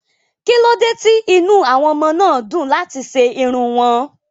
Kí ló dé tí inú àwọn ọmọ náà dùn láti ṣe irun wọn?